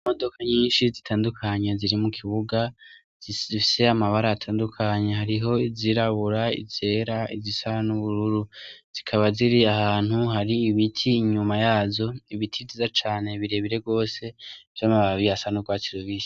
Imodoka nyinshi zitandukanye ziri mu kibuga zifise amabara atandukanye hariho izirabura, izera, izisa n'ubururu zikaba ziri ahantu hari ibiti inyuma yazo ibiti vyiza cane birebire rwose vy'amababi asa n'urwatsi rubisi.